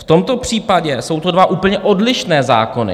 V tomto případě jsou to dva úplně odlišné zákony.